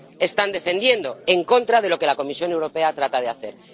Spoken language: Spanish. están defendiendo, en contra de lo que la Comisión Europea trata de hacer.